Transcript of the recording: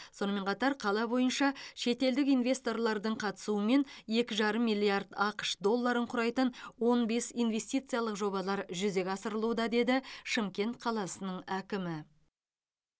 сонымен қатар қала бойынша шетелдік инвесторлардың қатысуымен екі жарым миллард ақш долларын құрайтын он бес инвестициялық жобалар жүзеге асырылуда деді шымкент қаласының әкімі